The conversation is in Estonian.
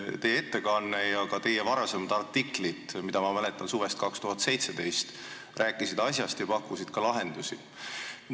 Teie ettekanne ja ka teie varasemad artiklid, mida ma mäletan suvest 2017, rääkisid asjast ja pakkusid ka lahendusi.